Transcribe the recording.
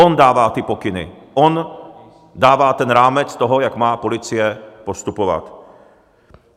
On dává ty pokyny, on dává ten rámec toho, jak má policie postupovat.